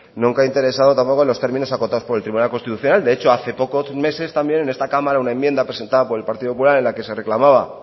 nunca ha interesado tampoco en los términos acotados por el tribunal constitucional de hecho hace pocos meses también en esta cámara una enmienda presentada por el partido popular en la que se reclamaba